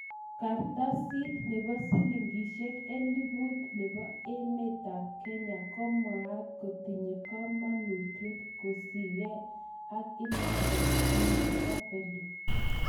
Kartasit nebo shilingishek elibut nebo Kenya ko mwaat kotinye komonutyet kosike ak inendet Bw